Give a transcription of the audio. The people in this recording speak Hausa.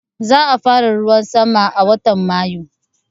Za a fara ruwan sama a watan Mayu